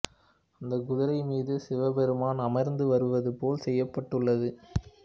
அந்தக் குதிரை மீது சிவபெருமான் அமர்ந்து வருவது போல செய்யப்பட்டுள்ளது